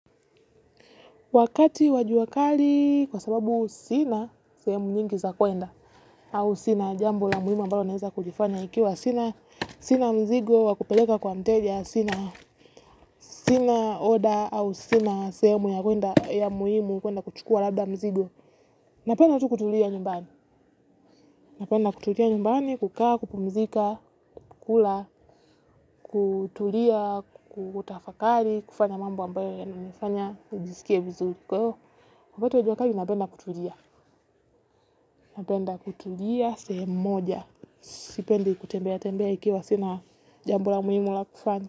Wakati wa jua kali kwa sababu sina sehemu nyingi za kuenda au sina jambo la muhimu ambalo naeza kulifanya ikiwa sina sina mzigo wa kupeleka kwa mteja sina sina order au sina sehemu ya kuenda ya muhimu kuenda kuchukua labda mzigo napenda tu kutulia nyumbani napenda kutulia nyumbani, kukaa, kupumzika, kukula kutulia, kutafakari, kufanya mambo ambayo yananifanya nijisikie vizuri kwa hiyo wakati wa jua kali napenda kutulia napenda kutulia sehemu moja, sipendi kutembea tembea ikiwa sina jambo muhimu la kufanya.